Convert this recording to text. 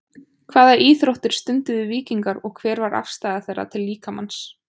Hvaða íþróttir stunduðu víkingar og hver var afstaða þeirra til líkamans?